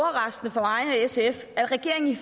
sf at regeringen